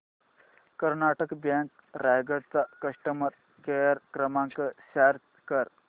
Karnataka bank Raigad चा customer care क्रमांक search कर